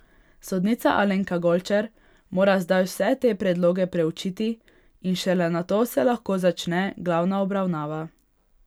Sodnica Alenka Golčer mora zdaj vse te predloge preučiti in šele nato se lahko začne glavna obravnava.